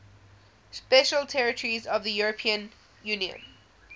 special territories of the european union